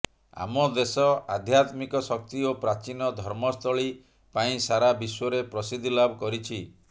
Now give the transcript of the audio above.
ଆମ ଦେଶ ଆଧ୍ୟାତ୍ମିକ ଶକ୍ତି ଓ ପ୍ରାଚୀନ ଧର୍ମସ୍ଥଳୀ ପାଇଁ ସାରା ବିଶ୍ୱରେ ପ୍ରସିଦ୍ଧିଲାଭ କରିଛି